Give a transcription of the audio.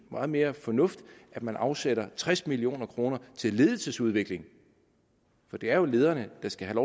meget mere fornuftigt at man afsætter tres million kroner til ledelsesudvikling for det er jo lederne der skal have